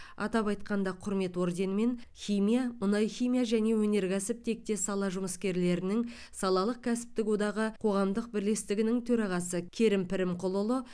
атап айтқанда құрмет орденімен химия мұнайхимия және өнеркәсіп тектес сала жұмыскерлерінің салалық кәсіптік одағы қоғамдық бірлестігінің төрағасы керім пірімқұлұлы